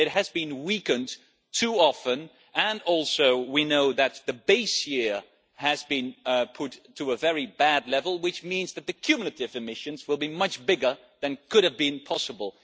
It has been weakened too often and we know also that the base year has been put to a very bad level which means that the cumulative emissions will be much bigger than could have been possible.